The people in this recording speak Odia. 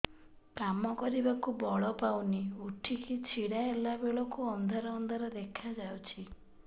କାମ କରିବାକୁ ବଳ ପାଉନି ଉଠିକି ଛିଡା ହେଲା ବେଳକୁ ଅନ୍ଧାର ଅନ୍ଧାର ଦେଖା ଯାଉଛି